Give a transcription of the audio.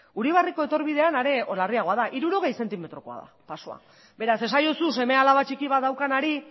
uribarriko etorbidean are larriagoa da hirurogei zentimetrokoa da pasoa beraz esaiozu seme alaba txiki bat daukanari